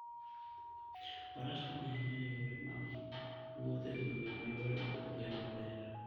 Faras konyo ahinya e yore mag wuoth e gwenge ma yore ok oger maber.